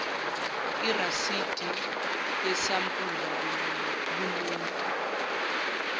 irasidi yesampula kumuntu